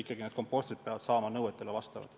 Ja need kompostrid peavad nõuetele vastama.